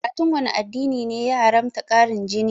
Karatun wanne addini ne ya haramta ƙarin jini?